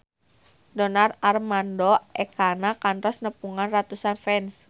Donar Armando Ekana kantos nepungan ratusan fans